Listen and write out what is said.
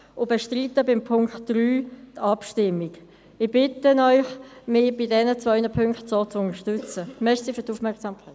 Ich bestreite die Abschreibung des Punkts 3. Ich bitte Sie, mich bei diesen beiden Punkten entsprechend zu unterstützen.